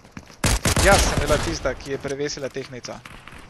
Jaz sem bila tista, ki je prevesila tehtnico.